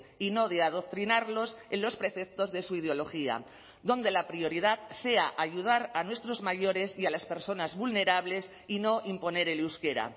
y no de adoctrinarlos en los preceptos de su ideología donde la prioridad sea ayudar a nuestros mayores y a las personas vulnerables y no imponer el euskera